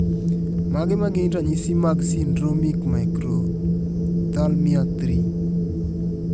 Mage magin ranyisi mag Syndromic microphthalmia 3?